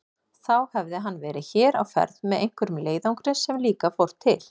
Þá hefði hann verið hér á ferð með einhverjum leiðangri sem líka fór til